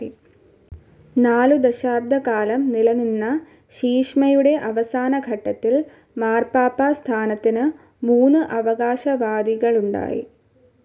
നാലു ദശാബ്ദക്കാലം നിലനിന്ന ശീശ്മയുടെ അവസാനഘട്ടത്തിൽ മാർപ്പാപ്പാ സ്ഥാനത്തിന് മൂന്ന് അവകാശവാദികളുണ്ടായി.